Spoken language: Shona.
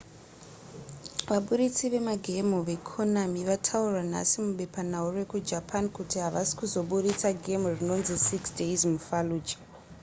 vabudisi vemagemhu vekonami vataura nhasi mubepanhau rekujapani kuti havasi kuzobudisa gemhu rinonzi six days mufallujah